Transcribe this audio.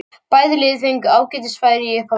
Bæði lið fengu ágætis færi í upphafi leiksins.